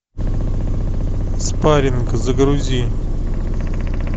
спаринг загрузи